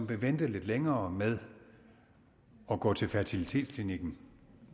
vil vente lidt længere med at gå til fertilitetsklinikken